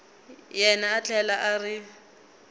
yena a tlhela a ri